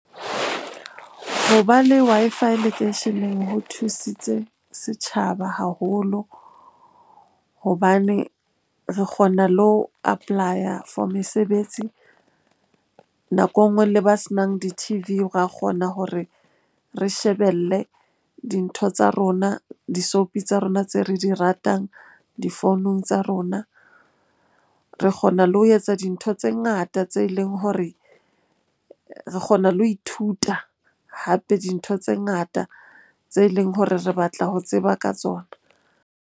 Ho ba le Wi-Fi lekeisheneng ho thusitse setjhaba haholo hobane re kgona le ho apply-a for mesebetsi. Nako enngwe le ba senang di-T_V ra kgona hore re shebelle dintho tsa rona, di-soapie tsa rona tse re di ratang difounung tsa rona. Re kgona le ho etsa dintho tse ngata tse leng hore re kgona le ho ithuta, hape dintho tse ngata tse leng hore re batla ho tseba ka tsona.